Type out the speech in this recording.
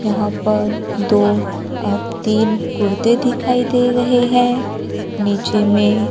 यहां पर दो और तीन कुर्ते दिखाई दे रहे हैं नीचे में--